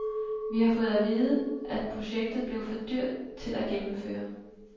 Vi har fået at vide, at projektet blev for dyrt til at gennemføre.